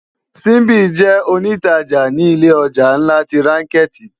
Simbi jè ónitàjá ni ilé òjá nlá ti rànkèti